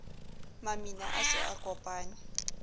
mamina a se a kopane